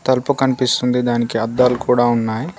తల్పు కన్పిస్తుంది దానికి అద్దాలు కూడా ఉన్నాయ్.